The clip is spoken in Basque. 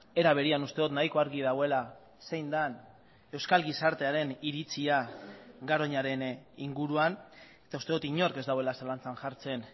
era berean uste dut nahiko argi dagoela zein den euskal gizartearen iritzia garoñaren inguruan eta uste dut inork ez duela zalantzan jartzen